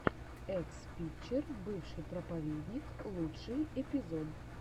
экс причер бывший проповедник лучший эпизод